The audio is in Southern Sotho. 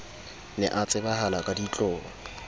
ne a tsebahala ka ditlolo